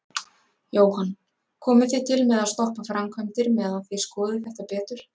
Jóhann: Komið þið til með að stoppa framkvæmdir meðan þið skoðið þetta betur?